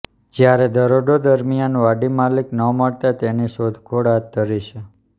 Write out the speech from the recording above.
જયારે દરોડો દરમિયાન વાડી માલીક ન મળતા તેની શોધખોળ હાથ ધરી છે